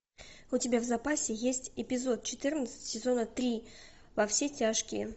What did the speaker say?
у тебя в запасе есть эпизод четырнадцать сезона три во все тяжкие